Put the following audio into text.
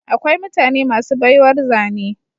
Akwai mutane masu baiwar zane